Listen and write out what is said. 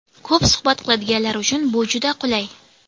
Ko‘p suhbat qiladiganlar uchun bu juda qulay.